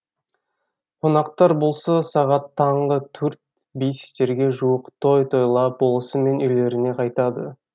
қонақтар болса сағат таңғы төрт бестерге жуық той тойлап болысымен үйлеріне қайтады